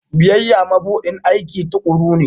Biyayya mabuɗin aiki tuƙuru ne.